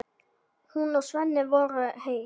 Hún og Svenni voru eitt.